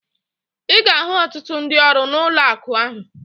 Ị ga-ahụ ọtụtụ ndị ọrụ n'ụlọakụ ahụ